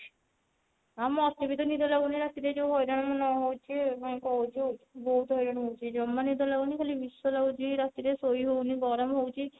ହଁ ମତେ ବି ତ ନିଦ ଲାଗୁନି ରାତିରେ ଯଉ ହଇରାଣ ମୁଁ ନ ହଉନି କାଇଁ କହୁଛୁ ବହୁତ ହଇରାଣ ହଉଛି ଜମା ନିଦ ଲାଗୁନି ଖାଲି ବିଷ ଲାଗୁଛି ରାତି ରେ ସୋଇ ହଉନି ଗରମ ହଉଛି